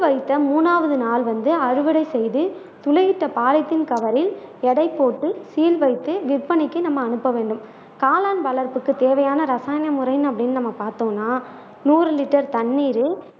வைத்த மூன்றாவது நாள் வந்து அறுவடை செய்து துளையிட்ட பொலித்தீன் கவரில் எடை போட்டு சீல் வைத்து விற்பனைக்கு நம்ம அனுப்ப வேண்டும் காளான் வளர்ப்புக்கு தேவையான ரசாயன முறை அப்படின்னு நம்ம பார்த்தோம்னா நூறு லிட்டர் தண்ணீரில்